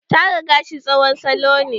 Tara gashi tsohon salo ne.